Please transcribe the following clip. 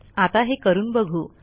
आता हे करून बघू